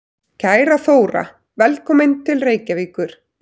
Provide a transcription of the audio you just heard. Kæra Þóra. Velkomin til Reykjavíkur.